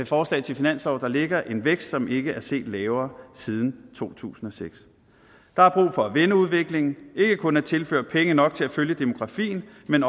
forslag til finanslov der ligger en vækst som ikke er set lavere siden to tusind og seks der er brug for at vende udviklingen ikke kun at tilføre penge nok til at følge demografien men